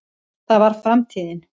það var framtíðin.